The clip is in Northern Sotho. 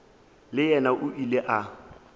le yena o ile a